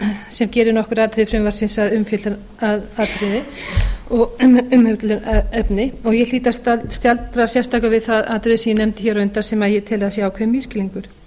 sem gerir nokkur atriði frumvarpsins að umfjöllunarefni og ég hlýt að staldra sérstaklega við það atriði sem ég nefndi hér á undan sem ég tel að sé ákveðinn misskilningur